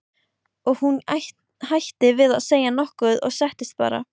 Og hún hætti við að segja nokkuð og settist bara.